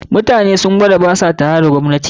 Mutanen sun gwada ba sa tare da gwamnatin